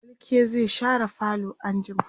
falke zai share falo anjima